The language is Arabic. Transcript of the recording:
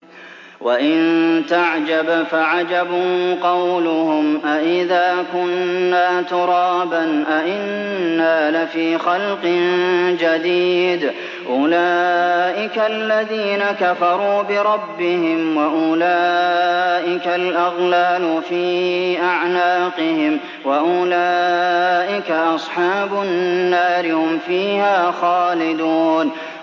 ۞ وَإِن تَعْجَبْ فَعَجَبٌ قَوْلُهُمْ أَإِذَا كُنَّا تُرَابًا أَإِنَّا لَفِي خَلْقٍ جَدِيدٍ ۗ أُولَٰئِكَ الَّذِينَ كَفَرُوا بِرَبِّهِمْ ۖ وَأُولَٰئِكَ الْأَغْلَالُ فِي أَعْنَاقِهِمْ ۖ وَأُولَٰئِكَ أَصْحَابُ النَّارِ ۖ هُمْ فِيهَا خَالِدُونَ